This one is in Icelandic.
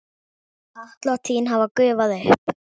Atlot þín hafa gufað upp.